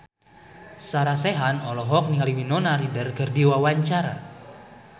Sarah Sechan olohok ningali Winona Ryder keur diwawancara